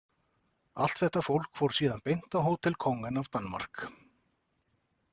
Allt þetta fólk fór síðan beint á Hotel Kongen af Danmark.